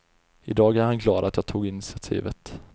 I dag är han glad att jag tog initiativet.